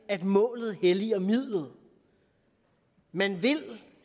at målet helliger midlet man vil